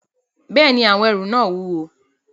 Bẹ́ẹ̀ni, àwọn ẹrù náà wúwo